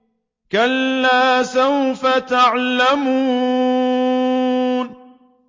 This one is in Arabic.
كَلَّا سَوْفَ تَعْلَمُونَ